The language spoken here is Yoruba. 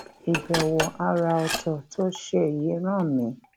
ìbèwò àrà òtò tó ṣe yìí rán mi